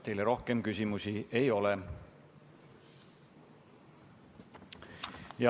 Teile rohkem küsimusi ei ole.